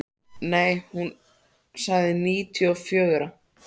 Nei, hún sagði níutíu og fjögra.